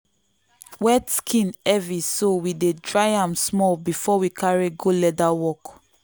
wet skin heavy so we dey dry am small before we carry go leather work.